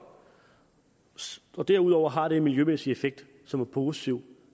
derudover har det en miljømæssig effekt som er positiv